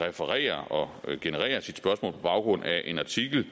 refererer og genererer sit spørgsmål på baggrund af en artikel